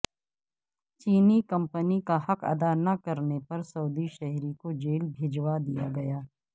چینی کمپنی کا حق ادا نہ کرنے پر سعودی شہری کو جیل بھجوا دیاگیا